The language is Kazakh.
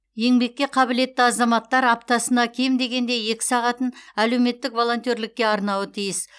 еңбекке қабілетті азаматтар аптасына кем дегенде екі сағатын әлеуметтік волонтерлікке арнауы тиіс